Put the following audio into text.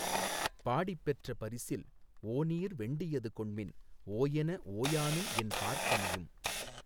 பாடிப்பெற்ற பரிசில் ஒநீர் வெண்டியது கொண்மின் ஒஎன ஒயானும் என் பார்ப்பனியும்